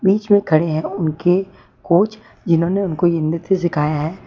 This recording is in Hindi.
बीच में खड़े हैं उनके कोच जिन्होंने इनको ये नृत्य सिखाया है।